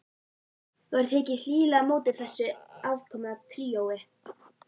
Var tekið hlýlega á móti þessu aðkomna tríói.